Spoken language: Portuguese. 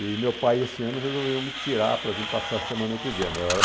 E meu pai, esse ano, resolveu me tirar para vir passar a semana euclidiana. Ah